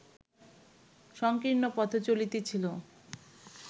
সঙ্কীর্ণ পথে চলিতেছিল